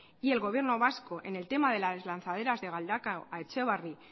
y el gobierno vasco en el tema de lanzaderas de galdakao a etxebarri